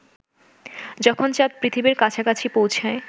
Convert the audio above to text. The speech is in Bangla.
যখন চাঁদ পৃথিবীর কাছাকাছি পৌঁছায়